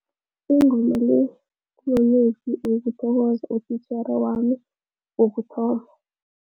Ingoma le kumamezwi wokuthokoza utitjhere wami wokuthoma.